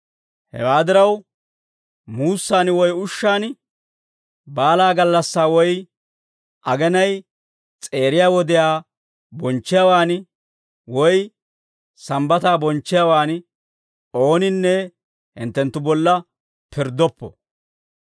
Hewaa diraw, muussaan woy ushshaan, baalaa gallassaa woy agenay s'eeriyaa wodiyaa bonchchiyaawan, woy Sambbataa bonchchiyaawan, ooninne hinttenttu bolla pirddoppo.